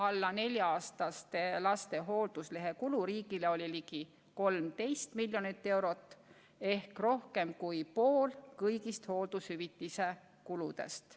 Alla nelja-aastaste laste hoolduslehekulu riigile oli ligi 13 miljonit eurot ehk rohkem kui pool kõigist hooldushüvitise kuludest.